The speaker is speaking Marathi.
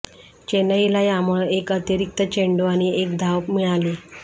चेन्नईला यामुळं एक अतिरिक्त चेंडू आणि एक धाव मिळाली